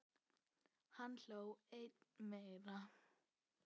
Hann hló enn meira.